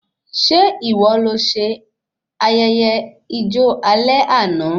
Ṣe ìwọ lọ sí ayẹyẹ ijo alẹ́ àna?